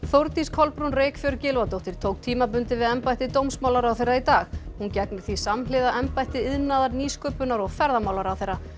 Þórdís Kolbrún Reykfjörð Gylfadóttir tók tímabundið við embætti dómsmálaráðherra í dag hún gegnir því samhliða embætti iðnaðar nýsköpunar og ferðamálaráðherra